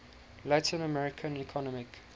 latin american economic